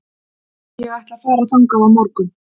Ég ætla að fara þangað á morgun.